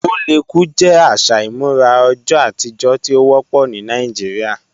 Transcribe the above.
Oléku jẹ aṣa imurà ọjọ̀ atijọ̀ tí o wọpọ ni Nàìjíríà